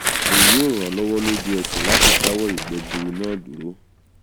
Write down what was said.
èyí yóò ràn ọ́ lọ́wọ́ lójú ẹsẹ̀ láti dáwọ́ ìgbẹ́ gbuuru náà dúró